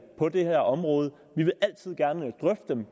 på det her område vi vil altid gerne drøfte dem